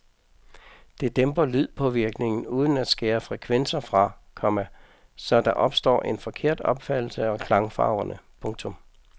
Det dæmper lydpåvirkningen uden at skære frekvenser fra, komma så der opstår en forkert opfattelse af klangfarverne. punktum